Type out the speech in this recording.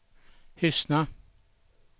Hyssna